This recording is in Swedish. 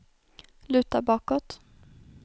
luta bakåt